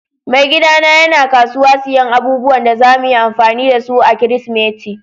Mai gida na yana kasuwa siyan abubuwan da zamu yi amfani da su a'kiristimeti.